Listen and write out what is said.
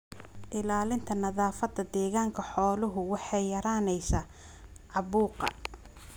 Ilaalinta nadaafadda deegaanka xooluhu waxay yaraynaysaa caabuqa.